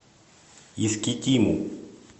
искитиму